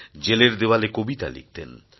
জেলের দেওয়ালে কবিতা লিখতেন